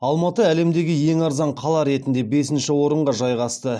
алматы әлемдегі ең арзан қала ретінде бесінші орынға жайғасты